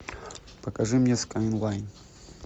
покажи мне скайлайн